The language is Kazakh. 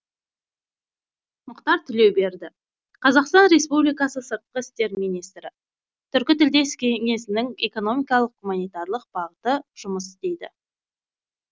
мұхтар тілеуберді қр сыртқы істер министрі түркітілдес кеңесінің экономикалық гуманитарлық бағыты жұмыс істейді